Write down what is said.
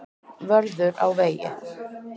Vörður á vegi.